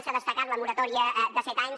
s’ha destacat la moratòria de set anys